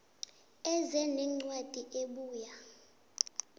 eze nencwadi ebuya